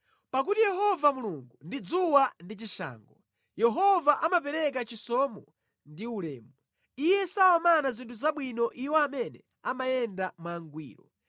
Pakuti Yehova Mulungu ndi dzuwa ndi chishango; Yehova amapereka chisomo ndi ulemu; Iye sawamana zinthu zabwino iwo amene amayenda mwangwiro.